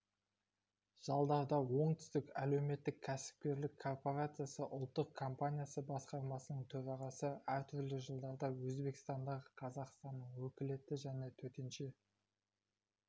жалдарда оңтүстік әлеуметтік-кәсіпкерлік корпорациясы ұлттық қомпаниясы басқармасының төрағасы әртүрлі жылдарда өзбекстандағы қазақстанның өкілетті және төтенше